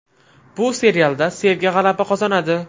Bu serialda sevgi g‘alaba qozonadi.